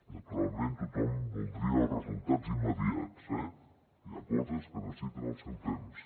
naturalment tothom voldria els resultats immediats eh hi ha coses que necessiten el seu temps